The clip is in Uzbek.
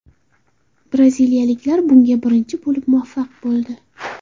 Braziliyaliklar bunga birinchi bo‘lib muvaffaq bo‘ldi.